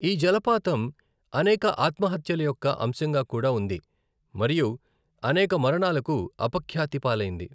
ఈ జలపాతం అనేక ఆత్మహత్యల యొక్క అంశంగా కూడా ఉంది మరియు అనేక మరణాలకు అపఖ్యాతి పాలైంది.